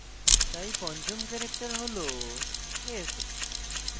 তাই পঞ্চম ক্যারেক্টার হল s